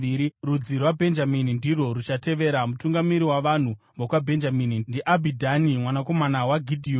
Rudzi rwaBhenjamini ndirwo ruchatevera. Mutungamiri wavanhu vokwaBhenjamini ndiAbhidhani mwanakomana waGidheoni.